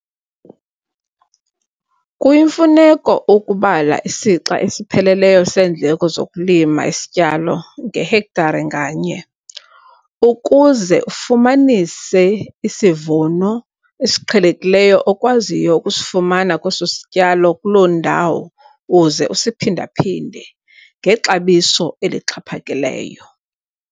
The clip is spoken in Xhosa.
Kuyimfuneko ukubala isixa esipheleleyo seendleko zokulima isityalo ngehektare nganye - ukuze ufumanise isivuno esiqhelekileyo okwaziyo ukusifumana kweso sityalo kuloo ndawo uze usiphinda-phinde ngexabiso elixhaphakileyo.